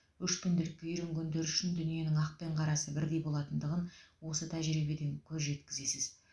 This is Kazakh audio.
өшпенділікке үйренгендер үшін дүниенің ақ пен қарасы бірдей болатындығын осы тәжірибеден көз жеткізесіз